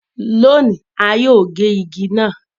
Lónì, a yóò gé igi náà.